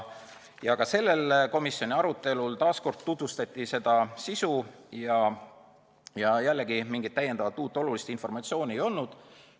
Ka sellel komisjoni arutelul tutvustati eelnõu sisu ja jällegi mingit uut olulist informatsiooni ei olnud.